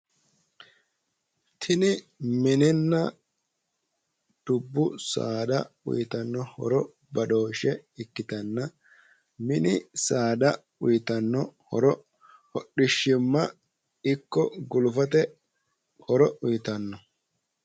tini mininna dubbu saada uyiitanno horo badooshshe ikkitanna mini saada uyiitanno horo hodhishimma ikko gulufate horo uyiitanno.